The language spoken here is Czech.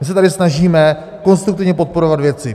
My se tady snažíme konstruktivně podporovat věci.